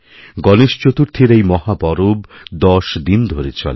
গণেশ চতুর্থীর এই মহা পরব ১০ দিন ধরে চলে